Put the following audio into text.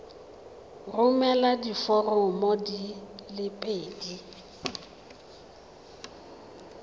romela diforomo di le pedi